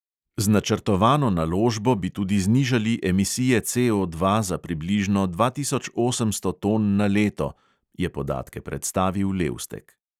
"Z načrtovano naložbo bi tudi znižali emisije CO dva za približno dva tisoč osemsto ton na leto," je podatke predstavil levstek.